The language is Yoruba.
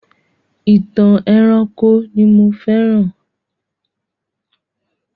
Ìtàn ẹranko ni mo féràn.